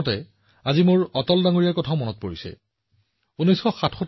আজি মই মন কী বাতৰ দৰ্শকসকলক অটলজীৰ ভাষণৰ এটা অংশ শুনাব বিচাৰো